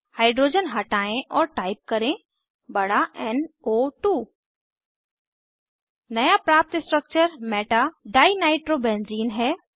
hydrogen हटायें और type करें बड़ा एन ओ 2 नया प्राप्त स्ट्रक्चर meta डाइनाइट्रोबेंजीन है